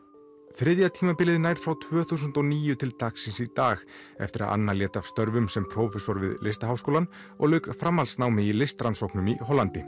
þriðja tímabilið nær frá tvö þúsund og níu til dagsins í dag eftir að Anna lét af störfum sem prófessor við Listaháskólann og lauk framhaldsnámi í listrannsóknum í Hollandi